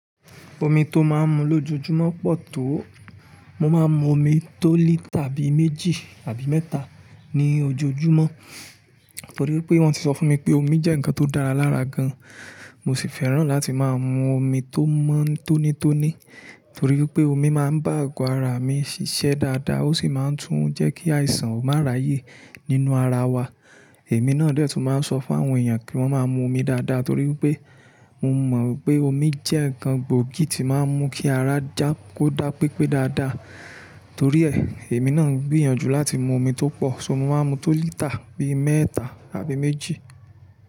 Omi tó máa ń mu lójoojúmọ́ pọ̀ tó. Mo máa ń mu omi tó lítà bíi méjì tàbí mẹ́ta ní ojoojúmọ́. Torí pé wọ́n ti sọ fún mi pé omi jẹ́ nǹkan tó dára lára gan-an. Mo sì fẹ́ràn láti máa mu omi tó mọ́, tónítóní. Torí pé omi máa ń bá agọ̀ ara mi ṣiṣẹ́ dáadáa, ó sì máa ń tún jẹ́ kí àìsàn má ráyè nínú ara wa. Èmi náà die tún máa ń sọ fún àwọn èèyàn kí wọ́n máa mu omi dáadáa, torí pé mo mọ̀ pé omi jẹ́ nǹkan gbòógì tí máa ń mú kí ara já kó dá pépé dáadáa. Torí ẹ, èmi náà ń gbìyànjú láti mu omi tó pọ̀, so mo máa ń mu tó lítà bíi mẹ́ta àbí méjì.